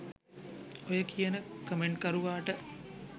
ඔය කියන කමෙන්ට්කරුවාට